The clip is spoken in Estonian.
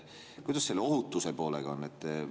Kuidas selle ohutuse poolega on?